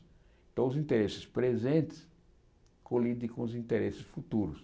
Então os interesses presentes colidem com os interesses futuros.